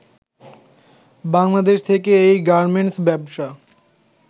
বাংলাদেশ থেকে এই গার্মেন্টস ব্যবসা